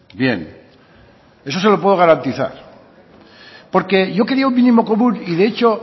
bien eso se lo puedo garantizar porque yo quería un mínimo común y de hecho